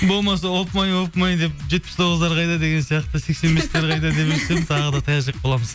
болмаса опмай опмай деп жетпіс тоғыздар қайда деген сияқты тағы да таяқ жеп қаламыз